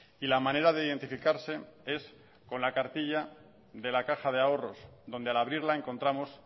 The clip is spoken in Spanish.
y la manera de identificarse es con la cartilla de la caja de ahorros donde al abrirla encontramos